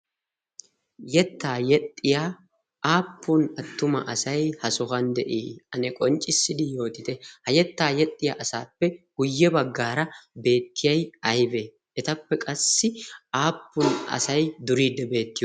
Yettaa yexxiya aappun attuma asay ha sohuwan de'ii? Ane qonccissidi yootite? Ha yettaa yexxiya asaappe guyye baggaara beettiyay aybe? Etappe qassi aappun asay duriidde beetti?